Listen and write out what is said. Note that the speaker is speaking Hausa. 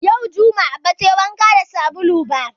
Yau jumai ba tayi wanka da sabulu ba